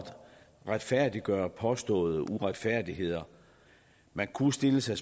retfærdiggøre påståede uretfærdigheder man kunne stille sig